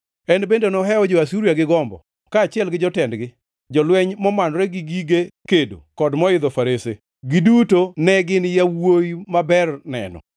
En bende nohewo jo-Asuria gi gombo; kaachiel gi jotendgi, jolweny momanore gi gige kedo, kendo moidho farese; giduto en gin yawuowi maber neno.